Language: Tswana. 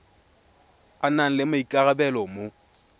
a nang le maikarabelo mo